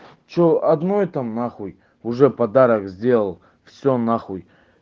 что одной там нахуй уже подарок сделал всё нахуй